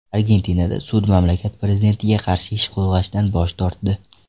Argentinada sud mamlakat prezidentiga qarshi ish qo‘zg‘ashdan bosh tortdi.